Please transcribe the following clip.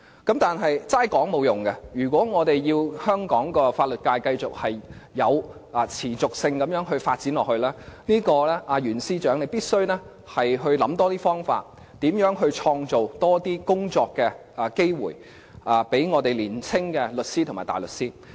但是，只是說話是沒有用的，如果我們要香港法律界持續地發展，袁司長必須多想方法，如何創造更多工作機會予年青的律師和大律師。